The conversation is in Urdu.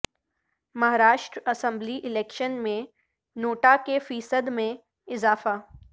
مہاراشٹرا اسمبلی الیکشن میں نوٹا کے فیصد میں اضافہ